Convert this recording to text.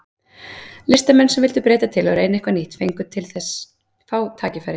Listamenn sem vildu breyta til og reyna eitthvað nýtt fengu þess vegna fá tækifæri.